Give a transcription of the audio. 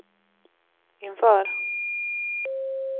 inför